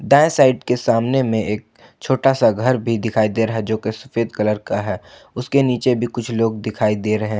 दाएं साइड के सामने में एक छोटा सा घर भी दिखाई दे रहा है जो कि सफेद कलर का है उसके नीचे भी कुछ लोग दिखाई दे रहे हैं।